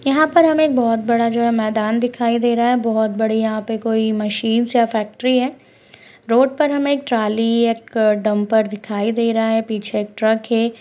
यहां पर हमें बहुत बड़ा जो है मैदान दिखाई दे रहा है बहुत बढ़िया ईहापे कोई मशीनस इया फैक्ट्री है रोड पर हमे एक ट्रॉली एक डंपर दिखाई दे रहा है पीछे एक ट्रक हे--